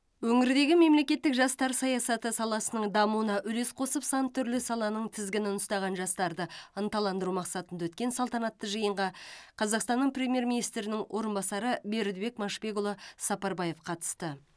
өңірдегі мемлекеттік жастар саясаты саласының дамуына үлес қосып сан түрлі саланың тізгінін ұстаған жастарды ынталандыру мақсатында өткен салтанатты жиынға қазақстанның премьер министрінің орынбасары бердібек машбекұлы сапарбаев қатысты